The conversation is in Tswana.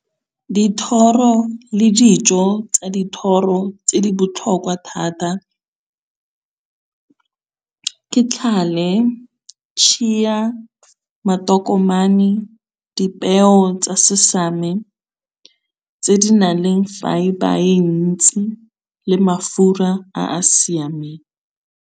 Dithoro le dijo tsa dithoro tse di botlhokwa thata, ke tlhale, tšhiya, matokomane, dipeo tsa sesame tse di nang le fibre e ntsi le mafura a a siameng.